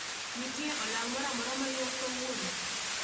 nitie olang' moramora maywak kawuono